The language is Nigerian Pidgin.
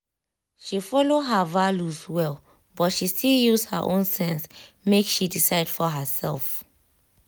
she follow her values well but she still use her own sense make she decide for herself.